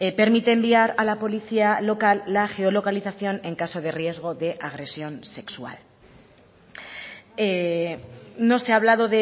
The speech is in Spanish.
permite enviar a la policía local la geolocalización en caso de riesgo de agresión sexual no se ha hablado